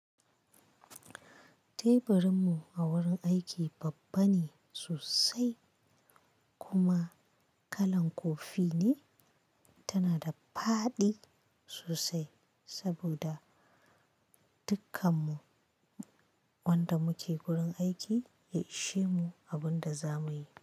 Teburinmu a wurin aiki babba ne sosai kuma kalan kofi ne, tana da faɗi sosai saboda dukkanmu wanda muke gurin aiki ya ishe mu abin da zamuyi.